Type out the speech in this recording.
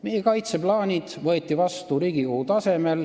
Meie kaitseplaanid võeti vastu Riigikogu tasemel.